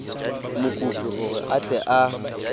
mokopi gore a tle a